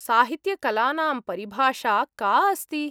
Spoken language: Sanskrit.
साहित्यकलानां परिभाषा का अस्ति ?